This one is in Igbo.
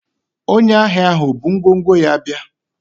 onye ahia ahu o bu ngwongwo ya bia?